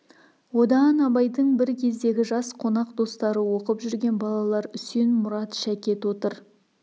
одан абайдың бір кездегі жас қонақ достары оқып жүрген балалар үсен мұрат шәкет отыр